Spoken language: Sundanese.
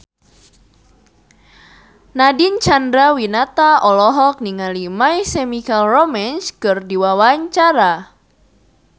Nadine Chandrawinata olohok ningali My Chemical Romance keur diwawancara